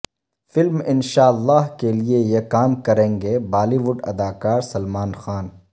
film Inshallah کے لئے یہ کام کریں گے بالی ووڈ اداکار سلمان خان